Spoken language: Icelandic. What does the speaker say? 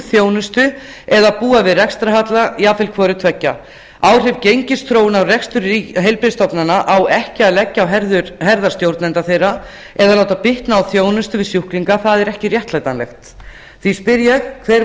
þjónustu eða búa við rekstrarhalla jafnvel hvoru tveggja áhrif gengisþróunar á rekstur heilbrigðisstofnana á ekki að leggja á herðar stjórnenda þeirra eða láta bitna á þjónustu við sjúklinga það er ekki réttlætanlegt því spyr ég hver